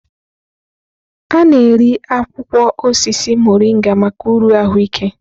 A na-eri akwụkwọ osisi Morịnga maka uru ahụike.